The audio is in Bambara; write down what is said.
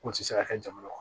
K'o tɛ se ka kɛ jamana kɔnɔ